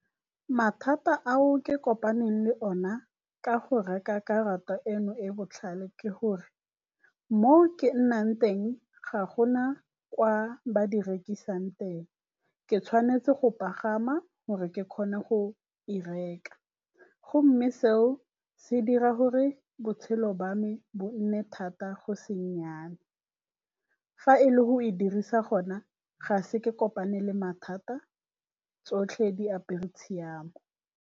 Mathata ao ke kopaneng le ona ka go reka karata eno e botlhale ke gore mo ke nnang teng ga gona kwa ba di rekisang teng, ke tshwanetse go pagama gore ke kgone go e reka gomme seo se dira gore botshelo jwa me bo nne thata go se nnyane. Fa e le go e dirisa gona ga se ke kopane le mathata tsotlhe diapere tshiamo.